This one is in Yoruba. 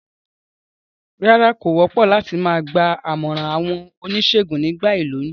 Rárá, kò wópò láti ma gba àmòràn àwon onísègùn nígba ìlóyún